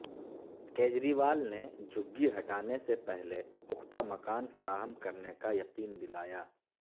کیجریوال نے جھگی ہٹانے سے پہلے پختہ مکان فراہم کرنے کا یقین دلایا